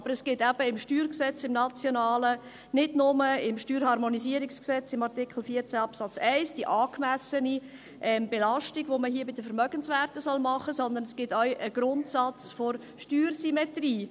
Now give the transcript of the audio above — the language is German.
Aber es gibt eben im nationalen Steuergesetz, nicht nur im Steuerharmonisierungsgesetz (StHG) im Artikel 14 Absatz 1, diese angemessene Belastung, die man hier bei den Vermögenswerten machen soll, sondern es gibt auch einen Grundsatz der Steuersymmetrie.